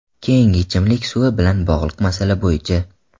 Keyingi, ichimlik suvi bilan bog‘liq masala bo‘yicha.